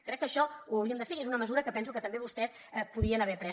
crec que això ho hauríem de fer i és una mesura que penso que també vostès podien haver pres